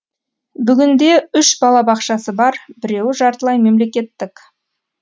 бүгінде үш балабақшасы бар біреуі жартылай мемлекеттік